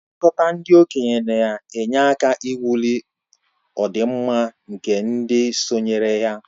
Nlekọta ndị okenye na-enye aka ịwulị ọdịmma nke ndị sonyere ya